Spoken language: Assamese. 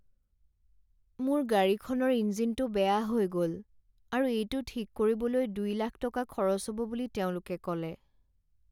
মোৰ গাড়ীখনৰ ইঞ্জিনটো বেয়া হৈ গ'ল আৰু এইটো ঠিক কৰিবলৈ দুই লাখ টকা খৰচ হ'ব বুলি তেওঁলোকে ক'লে।